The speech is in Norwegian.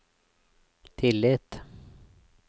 tillit